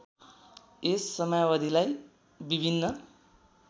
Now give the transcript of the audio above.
यस समयावधिलाई विभिन्न